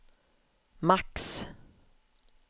max